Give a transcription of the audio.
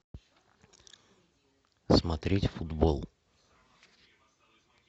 смотреть футбол